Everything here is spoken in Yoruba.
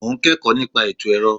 Mo ń kẹ́kọ̀ọ́ nípa ètò ẹ̀rọ.